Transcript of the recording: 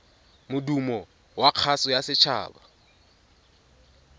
modumo wa kgaso ya setshaba